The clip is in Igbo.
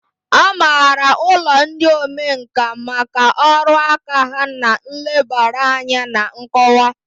A maara ụlọ ndị omenkà maka ọrụ aka ha na nlebara anya na nkọwa.